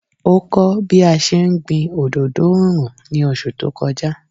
Ó kọ́ bí a ṣe ń gbin òdodo oòrùn ní oṣù tó kọjá.